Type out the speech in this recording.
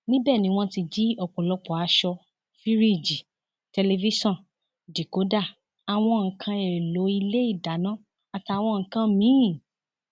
níbẹ ni wọn ti jí ọpọlọpọ aṣọ fíríìjì tẹlifíṣàn díkòdá àwọn nǹkan èèlò ilé ìdáná àtàwọn nǹkan mìín